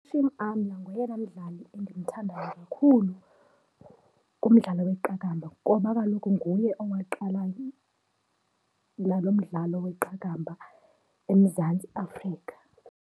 UHashim Amla ngoyena mdlali endimthandayo kakhulu kumdlalo weqakamba ngoba kaloku nguye owaqala lo mdlalo weqakamba eMzantsi Afrika.